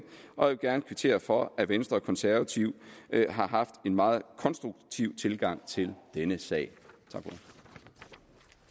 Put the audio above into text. og jeg vil gerne kvittere for at venstre og konservative har haft en meget konstruktiv tilgang til denne sag